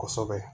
Kosɛbɛ